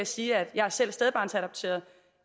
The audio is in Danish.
sige at jeg selv er stedbarnsadopteret og